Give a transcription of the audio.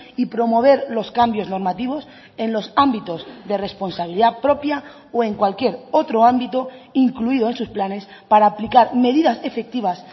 y promover los cambios normativos en los ámbitos de responsabilidad propia o en cualquier otro ámbito incluido en sus planes para aplicar medidas efectivas